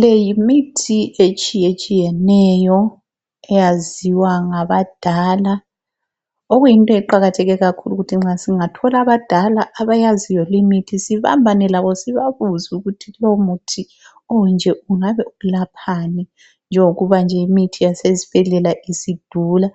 le yimithi etshiyetshiyeneyo eyaziwa ngabadala. Okuyinto eqakatheke kakhulu ukuthi nxa singathola abadala abayaziyo limithi sibambane labo sibabuze ukuthi lomuthi onje ungabe ulaphani, njengokuba nje imithi yasezibhedlela isidula.